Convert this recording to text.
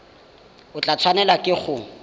o tla tshwanelwa ke go